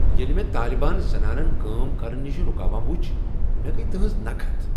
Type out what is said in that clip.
ییٚلہ مےٚ طالبان زنانن کٲم کرنہٕ نش رکاوان وُچھ ، مےٚ گیہ تہنز نكحت ۔